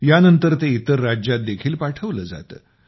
या नंतर ते इतर राज्यांत देखील पाठवले जाते